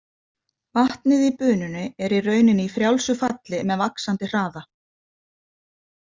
Vatnið í bununni er í rauninni í frjálsu falli með vaxandi hraða.